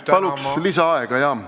Palun lisaaega!